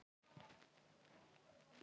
Stígheiður, hringdu í Arnbjörn.